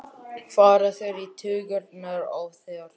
fara þeir í taugarnar á þér?